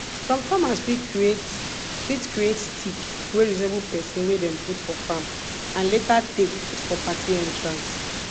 some farmers fit create fit create stick wey resemble person wey dem put for farm and later take put for party entrance